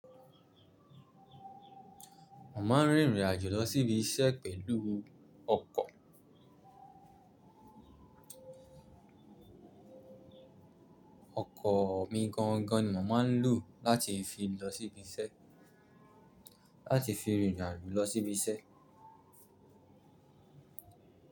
Mo ma ń rin ìrìnajò lọ sí ibi iṣẹ́ pẹ̀lú ọkọ̀. Ọkọ̀ mí gan gan ni mo máa ń lò láti fi lọ sí ibi iṣẹ́, láti fi rin ìrìnajò lọ sí ibi iṣẹ́.